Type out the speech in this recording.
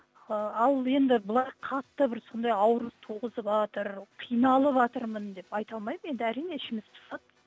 ы ал енді былай қатты бір сондай ауру туғызыватыр қиналыватырмын деп айта алмаймын енді әрине ішіміз пысады